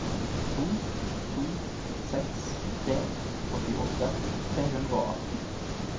to to seks tre åttiåtte tre hundre og atten